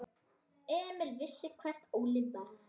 Emil vissi hver Óli var.